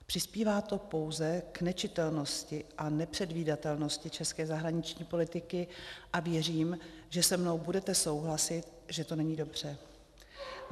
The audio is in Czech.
Přispívá to pouze k nečitelnosti a nepředvídatelnosti české zahraniční politiky a věřím, že se mnou budete souhlasit, že to není dobře.